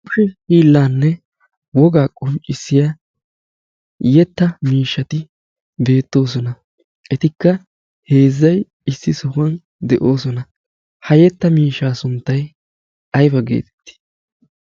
hiillaanne wogaa qunccissiya yetta miishshati beettoosona etikka heezzai issi sohuwan de'oosona. ha yetta miishshaa sunttay ayba geetettii?